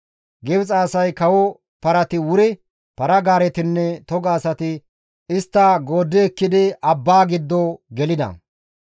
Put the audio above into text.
Gibxe asay kawo parati wuri, para-gaaretinne toga asay istta gooddi ekkidi abbaa giddo gelida.